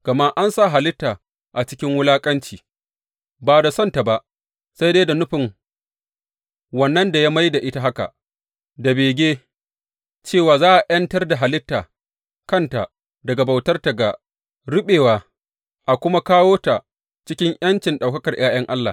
Gama an sa halitta a cikin wulaƙanci, ba da son ta ba, sai dai ta wurin nufin wannan da ya mai da ita haka, da bege cewa za a ’yantar da halitta kanta daga bautarta ga ruɓewa a kuma kawo ta cikin ’yancin ɗaukakar ’ya’yan Allah.